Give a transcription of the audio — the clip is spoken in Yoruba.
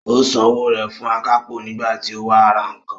Ó san owó rẹ̀ fún akápò nígbà tí ó wá ra nǹkan